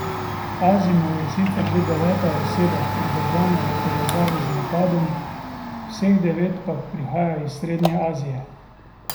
Azimov je sicer že deveta oseba, pridržana v povezavi z napadom, vseh devet pa prihaja iz Srednje Azije.